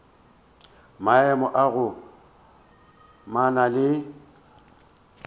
maemo a go amana le